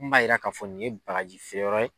Mun b'a yira k'a fɔ nin ye bagaji feere yɔrɔ ye.